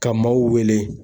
Ka maaw wele.